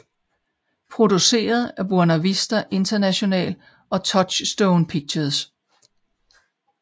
Produceret af Buena Vista International og Touchstone Pictures